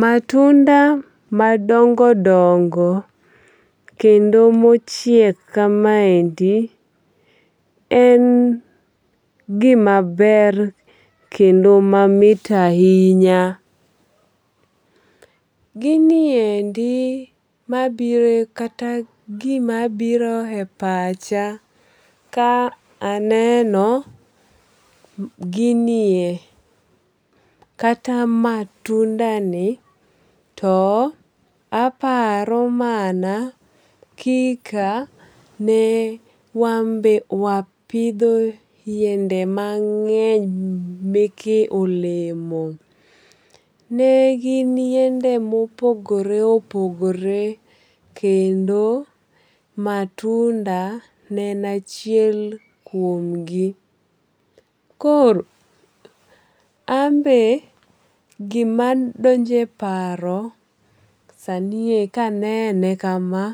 Matunda madongo dongo kendo mochiek kamaendi en gima ber kendo mamit ahinya. Giniendi mabiro kata gima biro e pacha ka aneno ginie kata matunda ni to aparo mana kika ne wan be wapidho yiende mang'eny meke olemo. Ne gin yiende mopogore opogore kendo matunda ne en achiel kuom gi. Koro an be gima donje paro sani e kanene kama